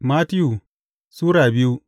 Mattiyu Sura biyu